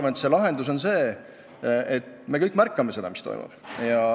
Minu arvates lahendus on see, et me kõik märkame, mis toimub.